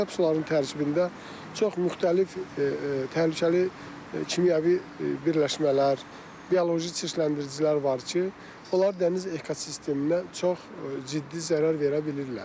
Çirkab sularının tərkibində çox müxtəlif təhlükəli kimyəvi birləşmələr, bioloji çirkləndiricilər var ki, onlar dəniz ekosisteminə çox ciddi zərər verə bilirlər.